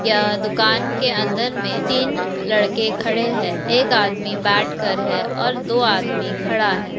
यह दुकान के अंदर में तीन लड़के खड़े हैं एक आदमी बैठ कर है और दो आदमी खड़ा हैं।